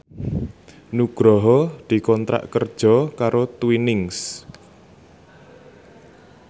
Nugroho dikontrak kerja karo Twinings